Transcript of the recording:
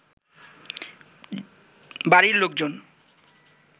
বাড়ির লোকজন